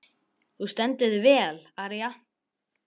Þú stendur þig vel, Aría!